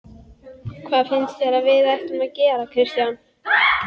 Hvað finnst þér að við ættum þá að gera, Kjartan?